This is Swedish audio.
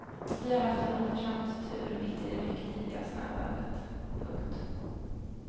Vi har haft en oförtjänt tur mitt i det mycket tidiga snöovädret. punkt